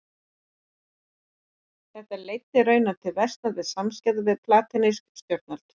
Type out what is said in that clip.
Þetta leiddi raunar til versnandi samskipta við palestínsk stjórnvöld.